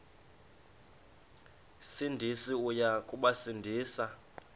sindisi uya kubasindisa